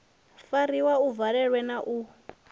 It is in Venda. fariwa a valelwa na u